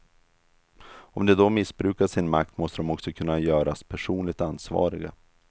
Om de då missbrukar sin makt måste de också kunna göras personligt ansvariga.